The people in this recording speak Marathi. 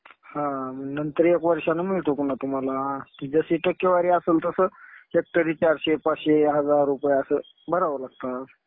हा. नंतर एक वर्षानं मिळतो पुन्हा तुम्हाला. कि जशी टक्केवारी असेल तसं हेक्टरी चारशे, पाचशे, हजार रुपये असं भरावे लागतात.